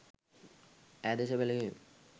ඈ දෙස බැලුයෙමි.